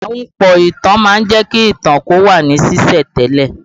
Ahunpọ̀ ìtàn má ń jẹ́ kí ìtàn ó wà ní sìsẹ̀ntele